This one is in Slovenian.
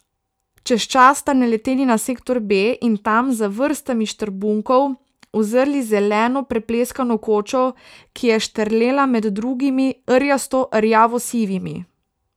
Čez čas sta naleteli na sektor B in tam, za vrstami štrbunkov, uzrli zeleno prepleskano kočo, ki je štrlela med drugimi rjasto rjavo sivimi.